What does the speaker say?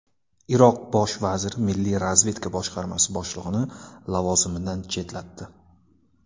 Iroq bosh vaziri milliy razvedka boshqarmasi boshlig‘ini lavozimidan chetlatdi.